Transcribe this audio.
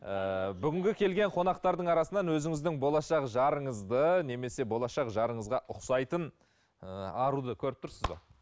ыыы бүгінгі келген қонақтардың арасынан өзіңіздің болашақ жарыңызды немесе болашақ жарыңызға ұқсайтын ыыы аруды көріп тұрсыз ба